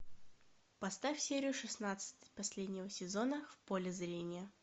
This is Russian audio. поставь серию шестнадцать последнего сезона в поле зрения